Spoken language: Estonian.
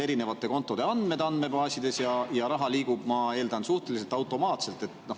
Erinevate kontode andmed on andmebaasides olemas ja raha liigub, ma eeldan, suhteliselt automaatselt.